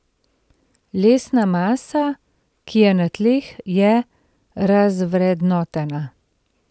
Lesna masa, ki je na tleh, je razvrednotena.